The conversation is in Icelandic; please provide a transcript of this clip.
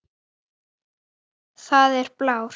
Það er blár.